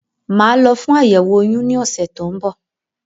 Màá lọ fún àyẹ̀wò oyún ní ọ̀sẹ̀ tó ń bọ̀